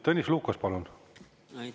Tõnis Lukas, palun!